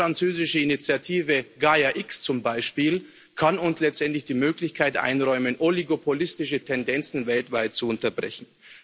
Die deutsch französische Initiative GAIA X zum Beispiel kann uns letztendlich die Möglichkeit einräumen, oligopolistische Tendenzen weltweit zu unterbrechen.